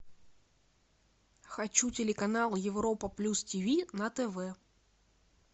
хочу телеканал европа плюс тв на тв